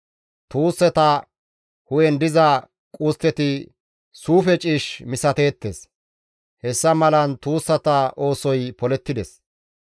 Tuussata hu7en diza qustteti suufe ciish misateettes; hessa malan tuussata oosoy polettides.